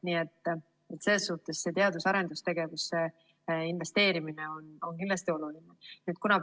Nii et selles suhtes on teadus‑ ja arendustegevusse investeerimine kindlasti oluline.